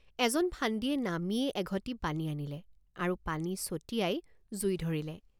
এজন ফান্দীয়ে নামিয়েই এঘটি পানী আনিলে আৰু পানী ছটিয়াই জুই ধৰিলে।